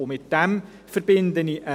Und damit verbinde ich einen Wunsch.